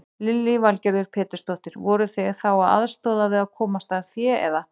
Lillý Valgerður Pétursdóttir: Voruð þið þá að aðstoða við að komast að fé eða?